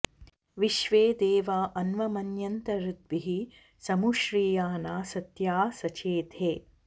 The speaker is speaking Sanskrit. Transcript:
विश्वे॑ दे॒वा अन्व॑मन्यन्त हृ॒द्भिः समु॑ श्रि॒या ना॑सत्या सचेथे